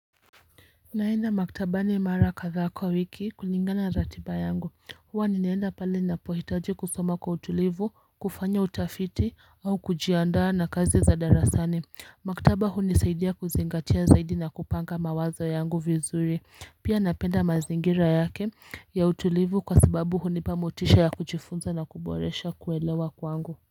Naenda maktabani mara kadhaa kwa wiki kulingana ratiba yangu huwa ninaenda pale napo hitaji kusoma kwa utulivu, kufanya utafiti, au kujiandaa na kazi za darasani Maktaba hu nisaidia kuzingatia zaidi na kupanga mawazo yangu vizuri Pia napenda mazingira yake ya utulivu kwa sababu hunipa motisha ya kujifunza na kuboresha kuelewa kwangu.